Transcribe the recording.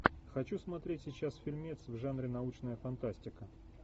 хочу смотреть сейчас фильмец в жанре научная фантастика